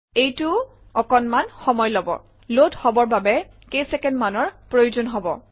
এইটোৱেও অকণমান সময় লব লোড হবৰ বাবে কেইচেকেণ্ডমানৰ প্ৰয়োজন হব